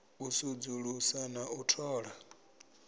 u sudzulusa na u thola